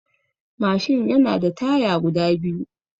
Mashin yana da taya guda biyu